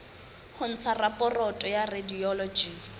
ho ntsha raporoto ya radiology